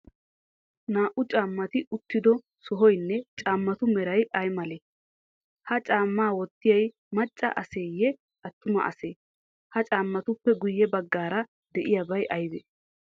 Naa''u caammati uttido sohoynne caammatu meray ay malee? Ha caammaa wottiyay macca aseyee, attuma asee? Ha caammatuppe guyye baggaara de'iyabay aybee?